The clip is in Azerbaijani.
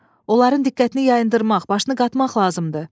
Onların diqqətini yayındırmaq, başını qatmaq lazımdır.